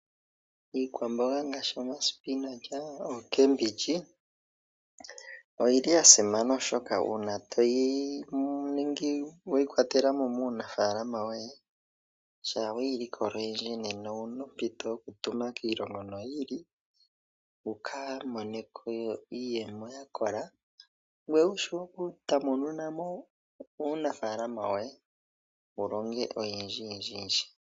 Iikwamboga ngaashi oomoga noomboga dhoka hadhi ithanwa ookambindji oyi li yasimana oshoka una toyi ningi weyi kwatela mo muunafaalama woye shampa oweyi likola mo oyindji nena owuna ompito yokutuma kiilongo yi ili noyi ili wuka mone ko iiyemo yakola ngweye wu tamununemo uunafaalama woye wulonge oyendji yendji.